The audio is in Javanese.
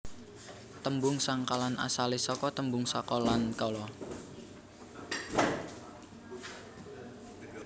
Tembung sengkalan asalé saka tembung saka lan kala